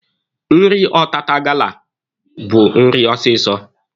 Nri ọtata gala bụ nri ọsịsọ.